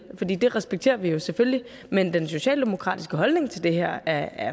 det respekterer vi jo selvfølgelig men den socialdemokratiske holdning til det her